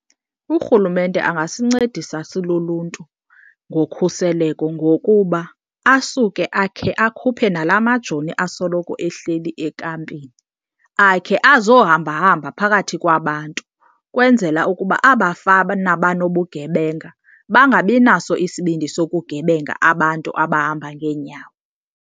Urhulumente angasincedisa siluluntu ngokhuseleko ngokuba asuke akhe akhuphe nalaa majoni asoloko ehleli ekampini akhe azohambahamba phakathi kwabantu, kwenzela ukuba abafana banobugebenga bangabinaso isibindi sokugebenga abantu abahamba ngeenyawo.